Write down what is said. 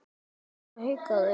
Mamma hikaði.